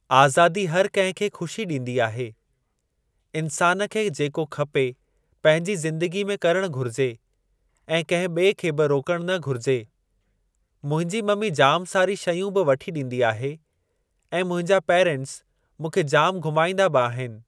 आज़ादी हर कंहिं खे ख़ुशी ॾींदी आहे। इंसान खे जेको खपे पंहिंजी ज़िंदगी में करणु घुरिजे ऐं कंहिं बि॒ए खे बि रोकणु न घुरिजे। मुंहिंजी ममी जाम सारी शयूं बि वठी ॾींदी आहे ऐं मुंहिंजा पेरेंट्स मूंखे जाम घूमाईंदा बि आहिनि।